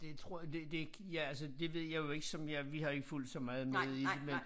Det tror jeg det det ikke ja altså det ved jeg jo ikke som jeg vi har jo ikke fulgt så meget med i det men